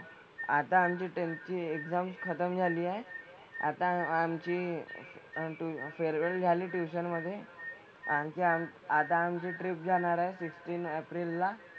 आता आमची टेंथची एक्साम खतम झाली आहे. आता आमची ते फेअरवेल झाली ट्युशन मधे. आणखी आम आता आमची ट्रिप जाणार आहे फिफ्टीन एप्रिल ला.